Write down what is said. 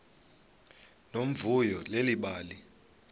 nomvuyo leli bali